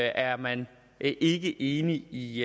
er man ikke enig i